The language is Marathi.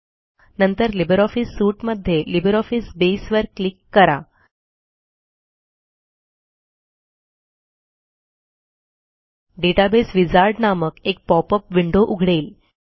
नंतर लिब्रिऑफिस Suiteमध्ये लिब्रिऑफिस बसे वर क्लिक करा डेटाबेस विझार्ड नामक एक पॉप अप विंडो उघडेल